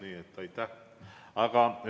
Nii et aitäh!